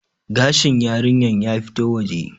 gashin yarinyar ya fito waje